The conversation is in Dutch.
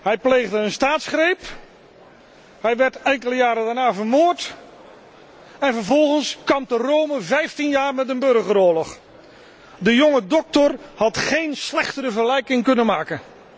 Hij pleegde een staatsgreep, hij werd enkele jaren daarna vermoord en vervolgens kampte Rome vijftien jaar met een burgeroorlog. De jonge doctor had geen slechtere vergelijking kunnen maken.